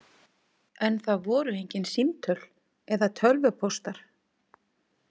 En það voru engin símtöl eða tölvupóstar.